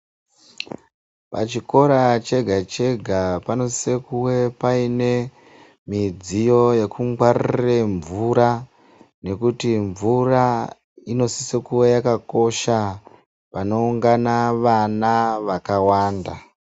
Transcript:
Pachikora chega chega panosisokuve paine midziyo yekungwaririre mvura nekuti mvura inosisokuva yakakosha panoungana vana vakawanda .